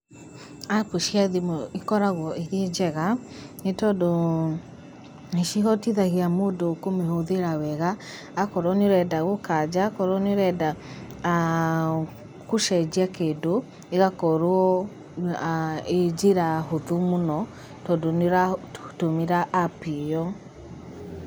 Appu cia thimũ ikoragwo irĩ njega nĩ tondũ nĩcihotithagia mũndũ kũmĩhũthĩra wega. Akorwo nĩ ũrenda gũkanja, akorwo nĩ ũrenda aah gũcenjia kĩndũ ĩgakorwo aah ĩĩ njĩra hũthũ mũno tondũ nĩũratũmĩra appu ĩyo.